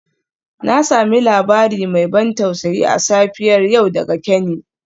Na sami labari mai ban tausayi a safiyar yau daga Kenny.